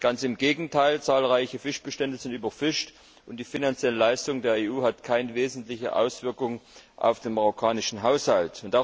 Ganz im Gegenteil. Zahlreiche Fischbestände sind überfischt und die finanzielle Leistung der EU hat keine wesentliche Auswirkung auf den marokkanischen Haushalt.